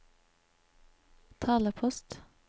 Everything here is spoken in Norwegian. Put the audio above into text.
talepost